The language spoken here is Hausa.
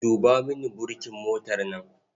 Duba mini burkin motar nan.